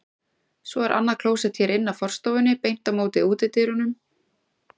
Svo er annað klósett hér inn af forstofunni, beint á móti útidyrunum.